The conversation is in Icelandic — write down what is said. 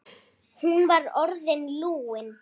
Hún var orðin lúin.